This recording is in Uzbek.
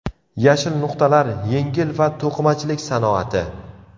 Yashil nuqtalar – yengil va to‘qimachilik sanoati.